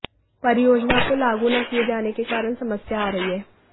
परियोजना को लागू न किये जाने के कारण समस्या आ रही है